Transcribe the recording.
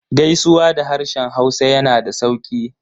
Gaisuwa da harshen hausa yana da sauƙi